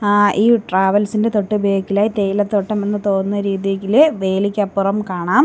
അഹ് ഈ ട്രാവൽസ് ഇന്റെ തൊട്ട് ബേക്ക് ഇൽ ആയി തേയില തോട്ടം എന്ന് തോന്നുന്ന രീതിയില് വേലിക്കപ്പുറം കാണാം.